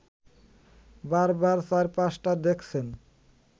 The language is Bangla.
বারবার চারপাশটা দেখছেন